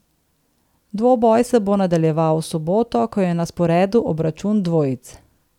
Dvoboj se bo nadaljeval v soboto, ko je na sporedu obračun dvojic.